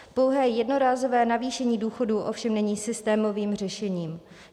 Pouhé jednorázové navýšení důchodů ovšem není systémovým řešením.